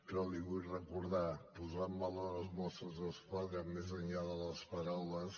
però li ho vull recordar posar en valor els mossos d’esquadra més enllà de les paraules